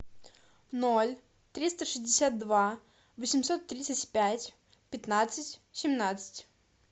ноль триста шестьдесят два восемьсот тридцать пять пятнадцать семнадцать